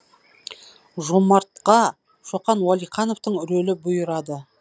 жомартқа шоқан уәлихановтың рөлі бұйырады